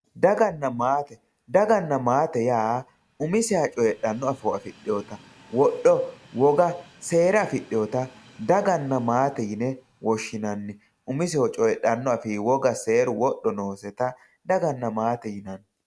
Daganna matte dagana matte ya umiseha coyidhano afo afidhewotta wodho woga seera afidhewota daganna matte yine woshinanni umesehu coyidhano afi woga seeru wodho nosetta daganna matte yinanni